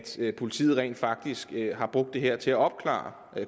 se at politiet rent faktisk har brugt det her til at opklare